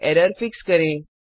error fix करें